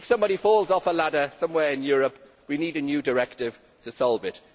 If somebody falls off a ladder somewhere in Europe, we need a new directive to solve it.